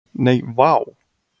Nei, vá!